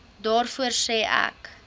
daarvoor sê ek